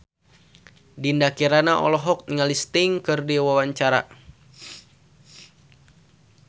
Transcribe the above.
Dinda Kirana olohok ningali Sting keur diwawancara